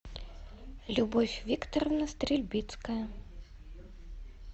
любовь викторовна стрельбицкая